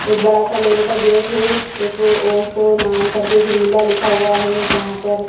एक बड़ा सा लोहे का गेट है एक ओसो नाम करके एक विला लिखा हुआ है जहाँ पर --